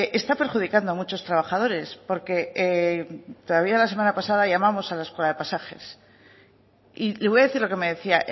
está perjudicando a muchos trabajadores porque todavía la semana pasada llamamos a la escuela de pasajes y le voy a decir lo que me decía